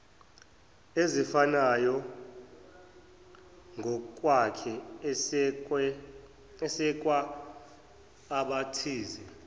ezifanayongokwakhe esekwa abathize